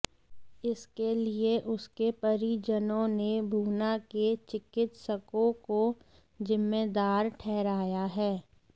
इसके लिए उसके परिजनों ने भूना के चिकित्सकों को जिम्मेदार ठहराया है